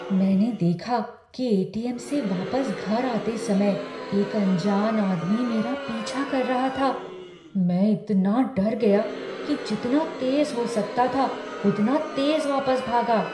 मैंने देखा कि ए.टी.एम. से वापस घर आते समय एक अनजान आदमी मेरा पीछा कर रहा था। मैं इतना डर गया कि जितना तेज हो सकता था उतना तेज वापस भागा।